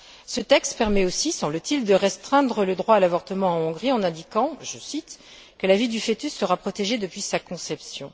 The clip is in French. Ce texte permet aussi semble t il de restreindre le droit à l'avortement en Hongrie en indiquant je cite que la vie du fœtus sera protégé depuis sa conception.